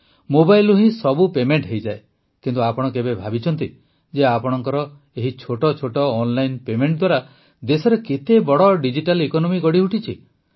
ମୋବାଇଲରୁ ହିଁ ସବୁ ପେମେଂଟ ହୋଇଯାଏ କିନ୍ତୁ ଆପଣ କେବେ ଭାବିଛନ୍ତି ଯେ ଆପଣଙ୍କର ଏହି ଛୋଟ ଛୋଟ ଅନଲାଇନ ପେମେଂଟ ଦ୍ୱାରା ଦେଶରେ କେତେ ବଡ ଡିଜିଟାଲ୍ ଇକୋନୋମି ଗଢ଼ିଉଠିଛି